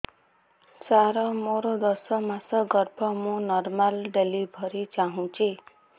ସାର ମୋର ଦଶ ମାସ ଗର୍ଭ ମୁ ନର୍ମାଲ ଡେଲିଭରୀ ଚାହୁଁଛି